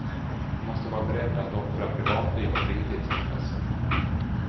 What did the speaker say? Du måste vara beredd att offra privatliv och fritidsintressen.